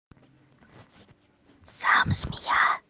сам змея